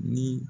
Ni